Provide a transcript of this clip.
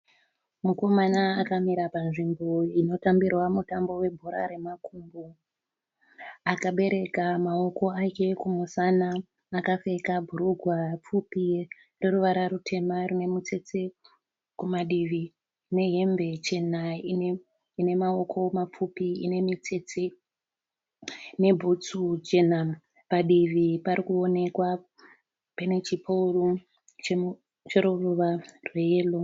Mukomana akamira panzvimbo inotambirwa mutambo webhora remakumbo. Akabereka maoko ake kumusana akapfeka bhurugwa pfupi roruvara rutema rinemitsetse kumadivi nehembe chena inemaoko mapfupi ine mitsetse nebhutsu jena. Padivi panoonekwa pane chikoni choruvara rweyero.